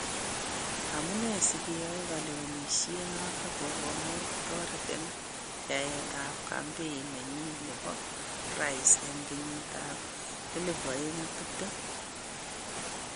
Amune sigeyai Kalewenishet noton kogomuch kotoret en yaet ab kampen nenyin nebo rais en kenyitab 2020